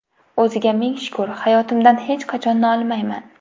O‘ziga ming shukr, hayotimdan hech qachon nolimayman.